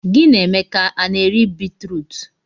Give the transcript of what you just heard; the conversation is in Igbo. Gị na Emeka a na-eri bitrut?